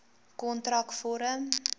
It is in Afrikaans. kontrakvorm